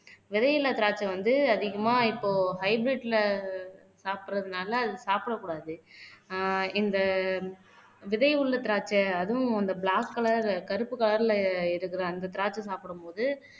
விதையில்லா திராட்சை வந்து அதிகமா இப்போ ஹைபிரிட்ல சாப்பிடுறதுனால அது சாப்பிடக் கூடாது. ஆஹ் இந்த விதை உள்ள திராட்சை அதுவும் அந்த பிளாக் கலர் கருப்பு கலர்ல இருக்கிற அந்த திராட்சை சாப்பிடு போது